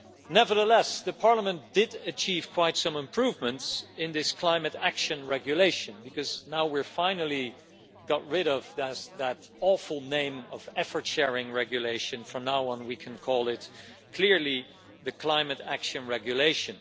Nevertheless Parliament did achieve quite some improvements in this Climate Action Regulation because now we finally got rid of that awful name of Effort Sharing Regulation', from now on we can call it clearly the Climate Action Regulation.